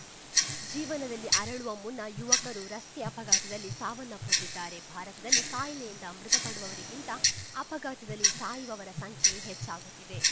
ಜೀವನದಲ್ಲಿ ಅರಳುವ ಮುನ್ನಾ ಯುವಕರು ರಸ್ತೆ ಅಪಘಾತದಲ್ಲಿ ಸಾವನ್ನಪ್ಪುತ್ತಿದ್ದಾರೆ ಭಾರತದಲ್ಲಿ ಕಾಯಿಲೆಯಿಂದ ಮೃತಪಡುವವರಿಗಿಂತ ಅಪಘಾತದಲ್ಲಿ ಸಾಯುವವರ ಸಂಖ್ಯೆಯೇ ಹೆಚ್ಚಾಗುತ್ತಿದೆ